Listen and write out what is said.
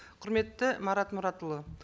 құрметті марат мұратұлы